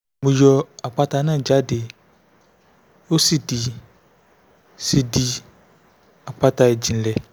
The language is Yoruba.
mo yọ àpáta náà jáde ó sì di sì di àpáta ìjìnlẹ̀